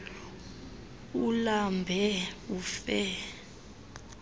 ulambe ufe ukba